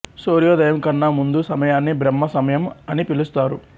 సూర్యోదయం కన్నా ముందు సమయాన్ని బ్రహ్మ సమయం అని పిలుస్తారు